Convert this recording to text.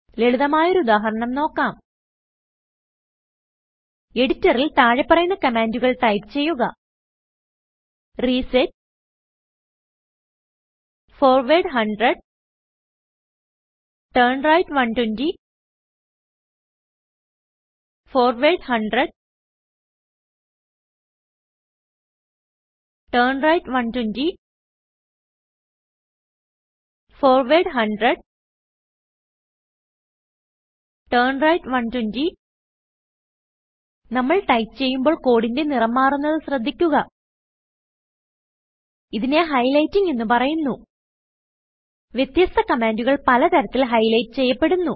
ലളിതമായൊരു ഉദാഹരണം നോക്കാം എഡിറ്ററിൽ താഴെ പറയുന്ന കമാൻഡുകൾ ടൈപ്പ് ചെയ്യുക reset forward 100 turn right 120 forward 100 turn right 120 forward 100 turn right 120 നമ്മൾ ടൈപ്പ് ചെയ്യുമ്പോൾ കോഡിന്റെ നിറം മാറുന്നത് ശ്രദ്ധിക്കുക ഇതിനെ highlightingഎന്ന് പറയുന്നു വ്യതസ്ത കമാന്റുകൾ പലതരത്തിൽ highlightചെയ്യപ്പെടുന്നു